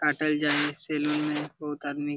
काटल जाएले सेलून में बहुत आदमी --